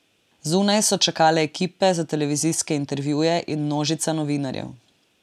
Zunaj so čakale ekipe za televizijske intervjuje in množica novinarjev.